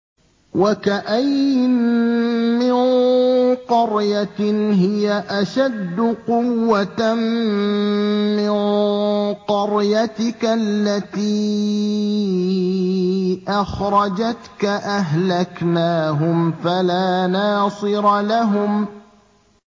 وَكَأَيِّن مِّن قَرْيَةٍ هِيَ أَشَدُّ قُوَّةً مِّن قَرْيَتِكَ الَّتِي أَخْرَجَتْكَ أَهْلَكْنَاهُمْ فَلَا نَاصِرَ لَهُمْ